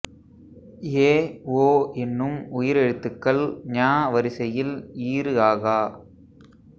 ஏ ஓ என்னும் உயிர் எழுத்துகள் ஞ வரிசையில் ஈறு ஆகா